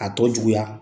A tɔ juguya